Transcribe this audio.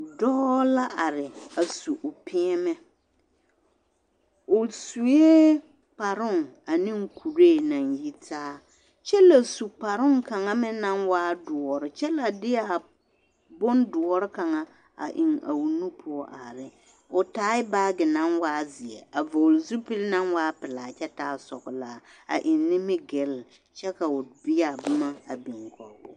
Dɔɔ la are a su o peɛmɛ, o sue kparoŋ ane kuree naŋ yitaa kyɛ la su kparoŋ kaŋa meŋ naŋ waa doɔre kyɛ la deɛ bondoɔre kaŋa a eŋ a o nu poɔ are ne, o taa baagi naŋ waa zeɛ, a vɔgele zupili naŋ waa pelaa kyɛ taa sɔgelaa a eŋ nimigilli kyɛ ka o biya boma a biŋ kɔgoo.